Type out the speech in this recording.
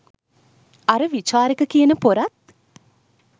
අර විචාරක කියන පොරත්